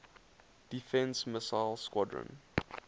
defense missile squadron